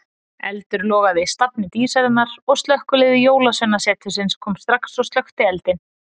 Eldur logaði í stafni Dísarinnar og slökkvilið Jólasveinasetursins kom strax og slökkti eldinn.